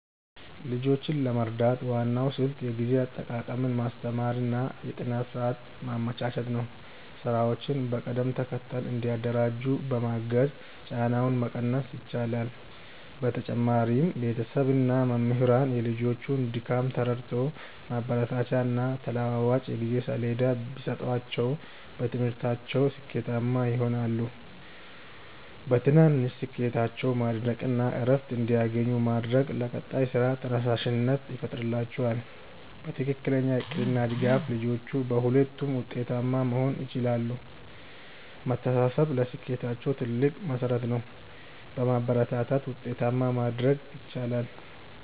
ልጆችን ለመርዳት ዋናው ስልት የጊዜ አጠቃቀምን ማስተማር እና የጥናት ሰዓት ማመቻቸት ነው። ስራዎችን በቅደም ተከተል እንዲያደራጁ በማገዝ ጫናውን መቀነስ ይቻላል። በተጨማሪም ቤተሰብ እና መምህራን የልጆቹን ድካም ተረድተው ማበረታቻና ተለዋዋጭ የጊዜ ሰሌዳ ቢሰጧቸው በትምህርታቸው ስኬታማ ይሆናሉ። በትናንሽ ስኬቶቻቸው ማድነቅ እና እረፍት እንዲያገኙ ማድረግ ለቀጣይ ስራ ተነሳሽነት ይፈጥርላቸዋል። በትክክለኛ እቅድ እና ድጋፍ ልጆቹ በሁለቱም ውጤታማ መሆን ይችላሉ። መተሳሰብ ለስኬታቸው ትልቅ መሠረት ነው። በማበረታታት ውጤታማ ማድረግ ይቻላል።